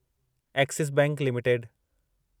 axis bank limited